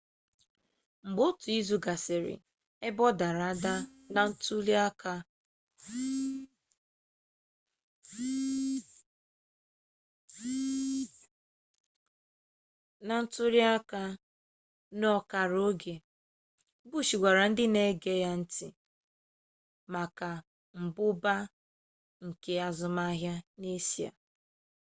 mgbe otu izu gasịrị ebe ọ dara ada na ntuliaka ọkara oge bush gwara ndị na-ege ya ntị maka mmụba nke azụmahịa n'eshia